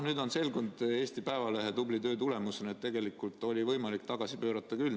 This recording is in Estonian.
Nüüd on Eesti Päevalehe tubli töö tulemusena selgunud, et tegelikult oli võimalik tagasi pöörata küll.